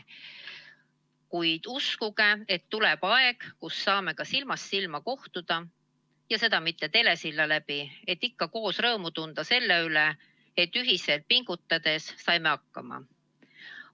Kuid uskuge, et tuleb aeg, kus saame ka silmast silma kohtuda, ja mitte läbi telesilla, et ikka koos rõõmu tunda selle üle, et ühiselt pingutades saime hakkama.